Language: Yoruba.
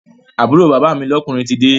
Àbúrò bàbá mi lọ́kùnrin tide